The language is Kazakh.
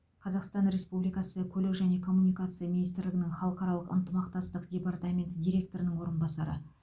қазақстан республикасы көлік және коммуникация министрлігінің халықаралық ынтымақтастық департаменті директорының орынбасары